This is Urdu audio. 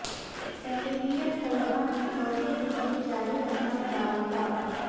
ایم بی بی ایس طلباء نے چوتھے دن بھی جاری رکھا بائیکاٹ